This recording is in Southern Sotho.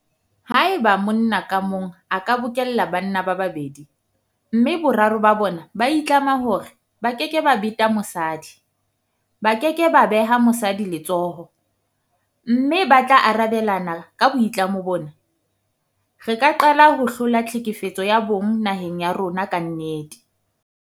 Haeba monna ka mong a ka bokella banna ba babedi mme boraro ba bona ba itlama hore ba keke ba beta mosadi, ba ke ke ba beha mosadi letsoho mme ba tla arabelana ka boitlamo bona, re ka qala ho hlola tlhekefetso ya bong naheng ya rona ka nnete.